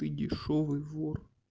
ты дешёвый вор